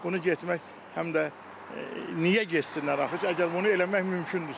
Bunu getmək həm də niyə getsinlər axı, əgər bunu eləmək mümkündürsə.